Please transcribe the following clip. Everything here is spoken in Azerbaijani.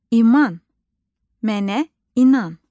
İman, mənə inan.